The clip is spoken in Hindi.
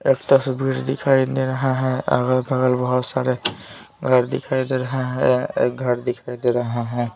एक तस्वीर दिखाई दे रहा है अगल बगल बहुत सारे घर दिखाई दे रहे हैं एक घर दिखाई दे रहा है।